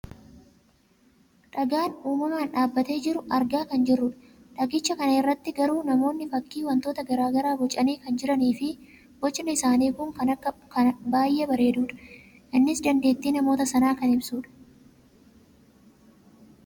dhagaa uummamaan dhaabbatee jiru argaa kan jirrudha. dhagicha kana irratti garuu namoonni fakkii wantoota gara garaa bocanii kan jiraniifi bocni isaanii kun kan baayyee bareedudha. innis dandeettii namoota sanaa kan ibsudha.